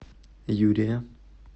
юрия